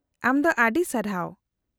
-ᱟᱢ ᱫᱚ ᱟᱹᱰᱤ ᱥᱟᱨᱦᱟᱣ !